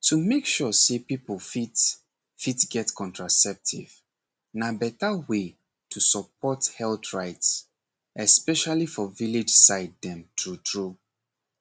to make sure say people fit fit get contraceptive na better way to support health rights especially for village side dem true true